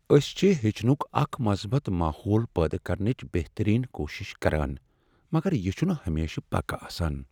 أسۍ چھ ہیٚچھنک اکھ مثبت ماحول پٲدٕ کرنٕچ بہترین کوٗشش کران، مگر یہ چھنہٕ ہمیشہٕ پکہٕ آسان۔